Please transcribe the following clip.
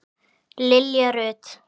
Lilja Rut.